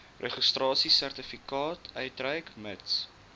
registrasiesertifikaat uitreik mits